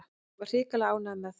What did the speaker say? Ég var hrikalega ánægður með þá.